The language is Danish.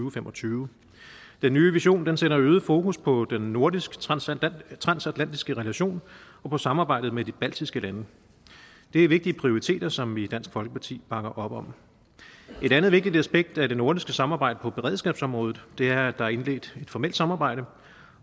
og fem og tyve den nye vision sætter øget fokus på den nordisk transatlantiske transatlantiske relation og på samarbejdet med de baltiske lande det er vigtige prioriteter som vi i dansk folkeparti bakker op om et andet vigtigt aspekt af det nordiske samarbejde på beredskabsområdet er at der er indledt et formelt samarbejde